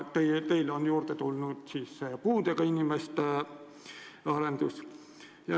Teile on juurde tulnud ka puudega inimeste liikumise arendus.